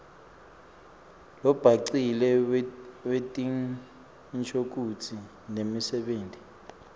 lobhacile wetinshokutsi nemisebenti